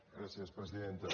gràcies presidenta